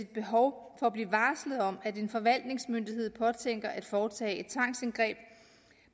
behov for at blive varslet om at en forvaltningsmyndighed påtænker at foretage et tvangsindgreb